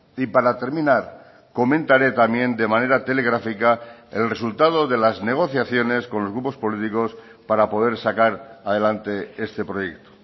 y para terminar comentaré también de manera telegráfica el resultado de las negociaciones con los grupos políticos para poder sacar adelante este proyecto